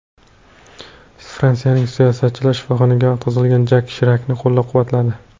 Fransiyalik siyosatchilar shifoxonaga yotqizilgan Jak Shirakni qo‘llab-quvvatladi.